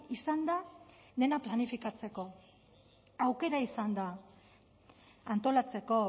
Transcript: izan da dena planifikatzeko aukera izan da antolatzeko